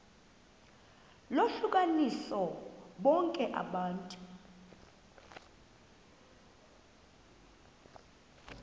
lohlukanise bonke abantu